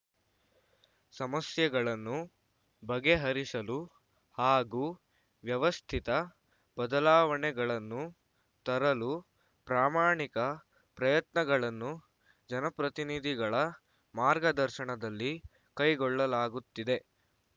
ಸಮಸ್ಯೆಗಳನ್ನು ಬಗೆಹರಿಸಲು ಹಾಗೂ ವ್ಯವಸ್ಥಿತ ಬದಲಾವಣೆಗಳನ್ನು ತರಲು ಪ್ರಾಮಾಣಿಕ ಪ್ರಯತ್ನಗಳನ್ನು ಜನಪ್ರತಿನಿಧಿಗಳ ಮಾರ್ಗದರ್ಶನದಲ್ಲಿ ಕೈಗೊಳ್ಳಲಾಗುತ್ತಿದೆ